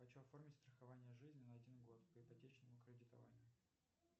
хочу оформить страхование жизни на один год по ипотечному кредитованию